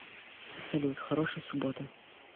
салют хорошей субботы